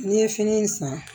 N'i ye fini in san